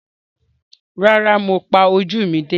Rárá, mo pa ojú mi dé.